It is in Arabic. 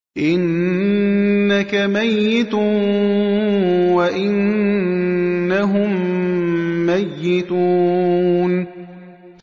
إِنَّكَ مَيِّتٌ وَإِنَّهُم مَّيِّتُونَ